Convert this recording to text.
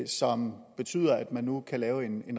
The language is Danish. som betyder at man nu kan lave en